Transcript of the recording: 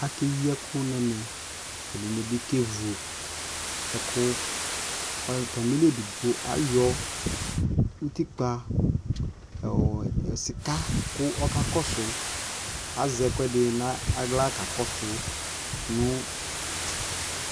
akɛyi ɛkʋ nʋ ɛmɛ ɛdinibi kɛvʋ ɛkʋ, atamili ɛdigbɔ kayɔ ʋtikpa sika kʋ ɔka kɔsʋ, azɛ ɛkʋɛdi nʋ ala ka kɔsʋ